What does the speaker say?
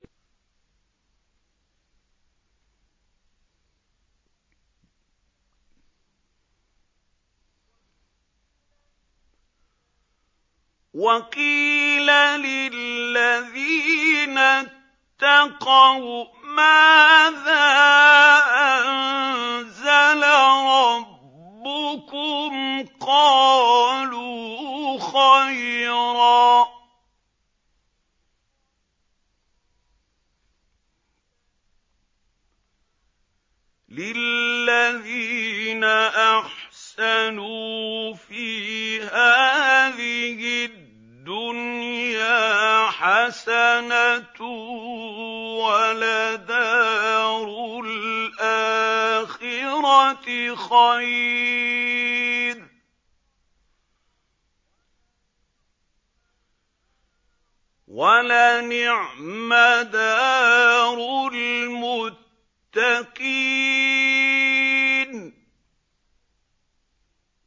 ۞ وَقِيلَ لِلَّذِينَ اتَّقَوْا مَاذَا أَنزَلَ رَبُّكُمْ ۚ قَالُوا خَيْرًا ۗ لِّلَّذِينَ أَحْسَنُوا فِي هَٰذِهِ الدُّنْيَا حَسَنَةٌ ۚ وَلَدَارُ الْآخِرَةِ خَيْرٌ ۚ وَلَنِعْمَ دَارُ الْمُتَّقِينَ